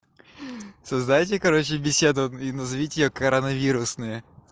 создайте короче беседу и назовите её коронавирусные